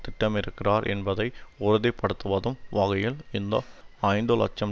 திட்டமிடுகிறார் என்பதை உறுதிப்படுத்துவதும் வகையில் இந்த ஐந்து இலட்சம்